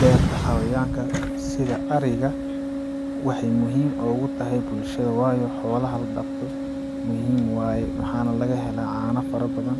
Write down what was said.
Beerta xawayanka sida ariga waxay muhiim oogu tahay bulshada waayo xoolaha la daqdo muhim waaye waxaana laga hela caana fara badan